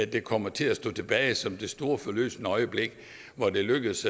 der kommer til at stå tilbage som det store forløsende øjeblik hvor det er lykkedes